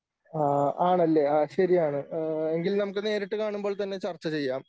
ആ ആണല്ലേ? ആ ശരിയാണ്. ഏഹ് എങ്കിൽ നമുക്ക് നേരിട്ട് കാണുമ്പോൾ തന്നെ ചർച്ച ചെയ്യാം.